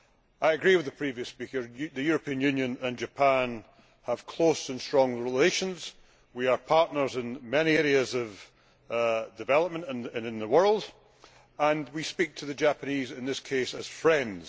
I agree with the previous speaker that the European Union and Japan have close and strong relations, we are partners in many areas of development and in the world, and we speak to the Japanese in this case as friends.